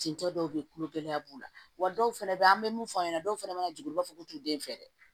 Cɛncɛn dɔw be yen kulogɛlɛya b'u la wa dɔw fɛnɛ be yen an be mun fɔ an ɲɛna dɔw fɛnɛ ma jigin u b'a fɔ k'u t'u den fɛ dɛ